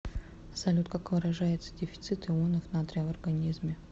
салют как выражается дефицит ионов натрия в организме